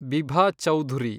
Bibha Chowdhury